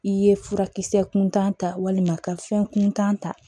I ye furakisɛ kuntan ta walima ka fɛn kuntan ta